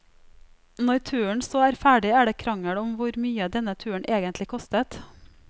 Når turen så er ferdig er det krangel om hvor mye denne turen egentlig kostet.